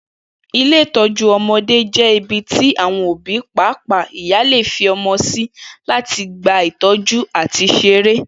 Ilé ìtó̩jú o̩mo̩dé jé̩ ibi tí àwo̩n òbí pàápàá ìyá lè fi o̩mo̩ sí láti gba ìtó̩jú àti s̩eré